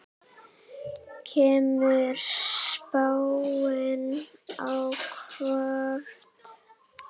Kemur spáin á óvart?